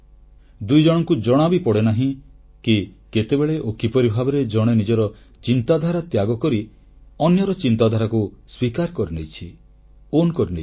ଦୁଇଜଣଙ୍କୁ ଜଣାବି ପଡ଼େନାହିଁ କି କେତେବେଳେ ଓ କିପରି ଭାବରେ ଜଣେ ନିଜର ଚିନ୍ତାଧାରା ତ୍ୟାଗକରି ଅନ୍ୟର ଚିନ୍ତାଧାରାକୁ ସ୍ୱୀକାର କରିନେଇଛି ଏବଂ ନିଜର ଭାବେ ଗ୍ରହଣ କରିନେଇଛି